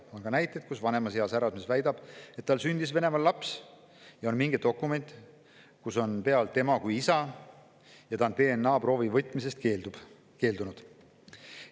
On ka näiteid, kui vanemas eas härrasmees väidab, et tal sündis Venemaal laps, ja on mingi dokument, kus on tema kui isa, aga ta on DNA‑proovi keeldunud.